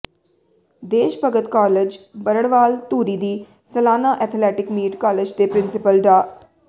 ਦੇਸ਼ ਭਗਤ ਕਾਲਜ ਬਰੜਵਾਲ ਧੂਰੀ ਦੀ ਸਲਾਨਾ ਅਥਲੈਟਿਕ ਮੀਟ ਕਾਲਜ ਦੇ ਪ੍ਰਿੰਸੀਪਲ ਡਾ